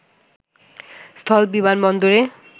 স্থল- বিমানবন্দরে